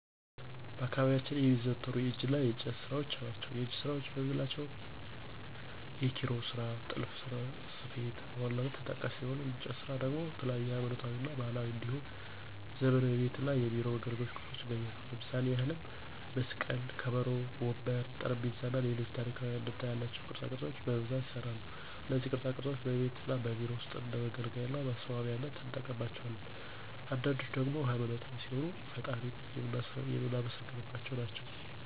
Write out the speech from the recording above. በአካባቢያችን የሚዘወተሩ የእጅ እና የእንጨት ስራዎች ናቸው። የእጅ ስራዎች የምንላቸው የኪሮሽ ስራ፣ ጥልፍና ስፌት በዋነኛነት ተጠቃሽ ሲሆኑ የእንጨት ስራ ደግሞ የተለያዩ ሀይማኖታዊ እና ባህላዊ እንዲሁም ዘመናዊ የቤት እና የቢሮ መገልገያ ቁሳቁሶች ይገኛሉ። ለምሳሌ ያህልም መስቀል፣ ከበሮ፣ ወንበር፣ ጠረጴዛ እና ሌሎች ታሪካዊ አንድምታ ያላቸው ቅርፃ ቅርፆች በብዛት ይሰራሉ። እነዚህ ቅርፃ ቅርፆች በቤት እና በቢሮ ውስጥ እንደ መገልገያ እና ማስዋቢያነት እንጠቀምባቸዋለን። አንዳንዶችን ደግሞ ሃይማኖታዊ ሲሆኑ ፈጣሪን የምናመሰግንባቸው ናቸው።